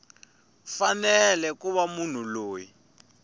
fanele ku va munhu loyi